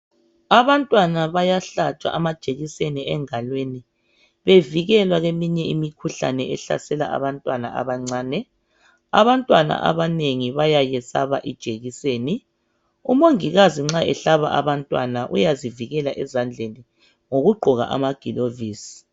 Abantwana bayahlatshwa amajekiseni engalweni, bevikelwa kweminye imikhuhlane ehlasela abantwana abancane. Abanengi bayayesaba ijekiseni. Umongikazi nxa behlaba abantwana uyazivikela ezandleni ngokugqoka amagilavisi.